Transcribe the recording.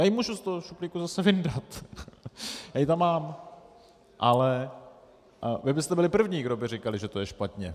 Já ji můžu z toho šuplíku zase vyndat, já ji tam mám, ale vy byste byli první, kdo by říkal, že to je špatně.